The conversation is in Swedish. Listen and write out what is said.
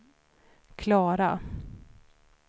Klara